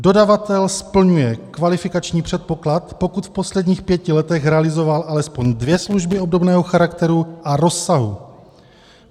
"Dodavatel splňuje kvalifikační předpoklad, pokud v posledních pěti letech realizoval alespoň dvě služby obdobného charakteru a rozsahu." -